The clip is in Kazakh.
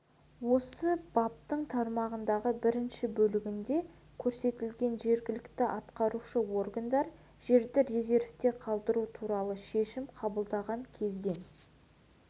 осы баптың тармағының бірінші бөлігінде көрсетілген жергілікті атқарушы органдар жерді резервте қалдыру туралы шешім қабылданған кезден